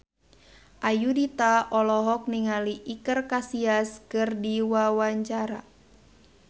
Ayudhita olohok ningali Iker Casillas keur diwawancara